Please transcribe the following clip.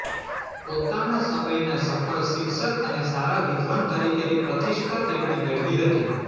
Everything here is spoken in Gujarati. પોતાના સમયના સફળ શિક્ષક અને સારા વિદ્વાન તરીકેની પ્રતિષ્ઠા તેમણે મેળવી હતી